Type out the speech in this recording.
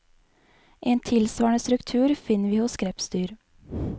En tilsvarende struktur finner vi hos krepsdyr.